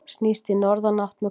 Snýst í norðanátt með kvöldinu